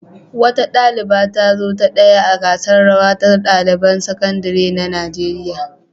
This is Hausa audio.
Wata ɗaliba ta zo ta ɗaya a gasar rawa ta ɗaliban sakandare na Najeriya.